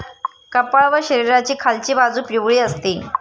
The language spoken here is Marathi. कपाळ व शरीराची खालची बाजू पिवळी असते.